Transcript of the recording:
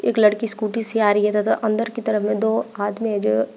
एक लड़की स्कूटी से आ रही है तथा अंदर की तरफ में दो आदमी है जो--